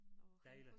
Dejligt